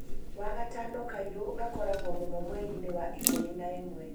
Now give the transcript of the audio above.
Wagatano kairũ' gakoragwo mũno mweri-inĩ wa ikũmi na ĩmwe